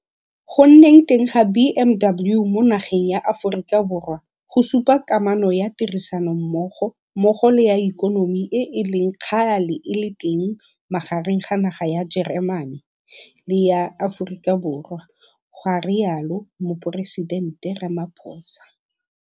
Go nneng teng ga BMW mo nageng ya Aforika Borwa go supa kamano ya tirisanommogo mmogo le ya ikonomi e e leng kgale e le teng magareng ga naga ya Jeremane le ya Aforika Borwa, ga rialo Moporesitente Ramaphosa.